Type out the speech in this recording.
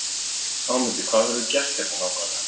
Ámundi, hvað verður gert hérna nákvæmlega?